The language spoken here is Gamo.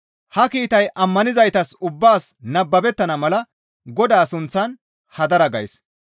Ha kiitay ammanizaytas ubbaas nababettana mala Godaa sunththan hadara gays.